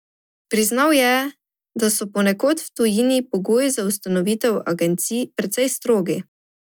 Priznal je, da so ponekod v tujini pogoji za ustanovitev agencij precej strogi.